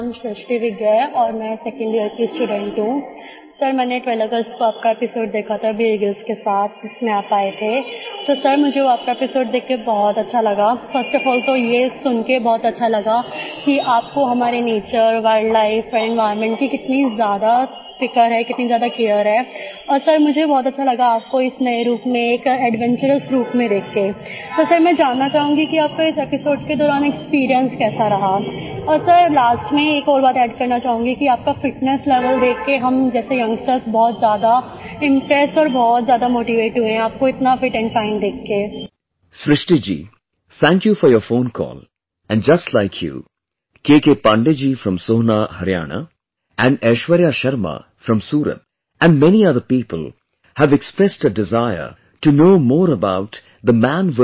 Srishti Ji thank you for your phone call and just like you KK Pandey ji from Sohna, Haryana, and Aishwarya Sharma from Surat and many other people have expressed a desire to know more about the 'Man vs